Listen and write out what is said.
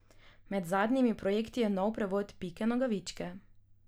Med zadnjimi projekti je nov prevod Pike Nogavičke.